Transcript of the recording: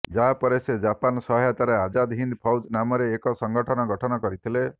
ଯାହା ପରେ ସେ ଜାପାନ ସହାୟତାରେ ଆଜାଦ୍ ହିନ୍ଦ୍ ଫୌଜ ନାମରେ ଏକ ସଂଗଠନ ଗଠନ କରିଥିଲେ